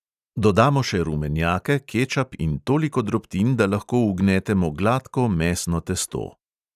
Dodamo še rumenjake, kečap in toliko drobtin, da lahko ugnetemo gladko mesno testo.